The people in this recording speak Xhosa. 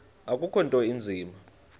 akukho nto inzima